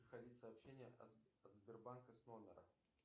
приходить сообщения от сбербанка с номера